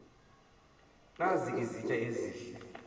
nazi izitya ezihle